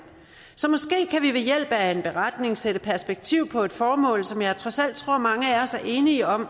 så måske kan vi ved hjælp af en beretning sætte perspektiv på et formål som jeg trods alt tror mange af os er enige om